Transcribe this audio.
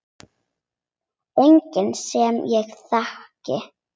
Enginn sem ég þekki.